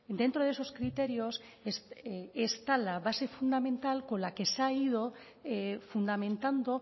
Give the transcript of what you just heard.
dentro de esos criterios está la base fundamental con la que se ha ido fundamentando